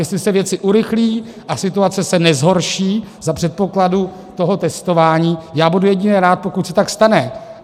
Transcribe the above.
Jestli se věci urychlí a situace se nezhorší za předpokladu toho testování, já budu jedině rád, pokud se tak stane.